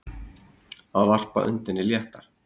Að varpa öndinni léttar